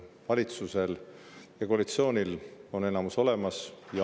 Valitsusel ja koalitsioonil on enamus olemas.